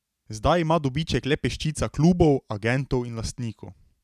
Zdaj ima dobiček le peščica klubov, agentov in lastnikov.